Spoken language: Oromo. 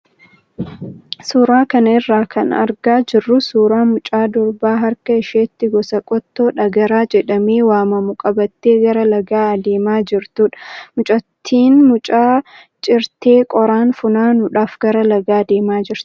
Suuraa kana irraa kan argaa jirru suuraa mucaa dubaraa harka isheetti gosa qottoo dhagaraa jedhamee waamamu qabattee gara lagaa adeemaa jirtudha. Mucattiin muka cirtee qoraan funaanuudhaaf gara lagaa adeemaa jirti.